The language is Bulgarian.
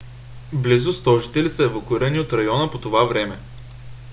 близо 100 жители са евакуирани от района по това време